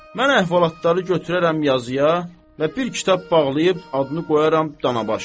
Mən əhvalatları götürərəm yazıya və bir kitab bağlayıb adını qoyaram danabaş.